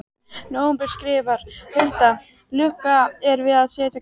nóvember skrifar Hulda: Lokið er við að setja gluggana í.